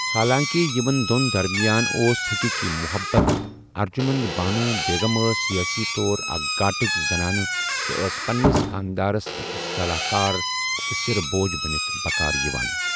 حالانٛکہِ یِمن دۄن درمِیان اوس حٔقیٖقی محبت، ارجُمنٛد بانو بیگم ٲس سِیٲسی طور اَکھ گاٹٕج زنان تہٕ ٲس پنٛنِس خانٛدارس أکِس صلاح کار تہٕ سِر بوج بنِتھ بكار یوان۔